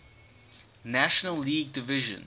national league division